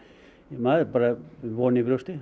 maður er bara með von í brjósti